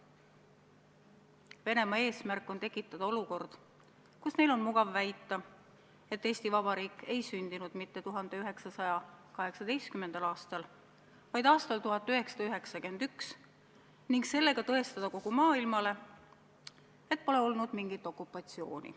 Venemaa eesmärk on tekitada olukord, kus neil on mugav väita, et Eesti Vabariik ei sündinud mitte 1918. aastal, vaid aastal 1991, ning sellega tõestada kogu maailmale, et pole olnud mingit okupatsiooni.